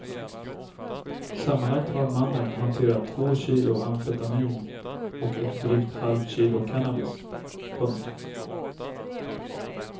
Sammanlagt har mannen hanterat två kilo amfetamin och ett drygt halvkilo cannabis. punkt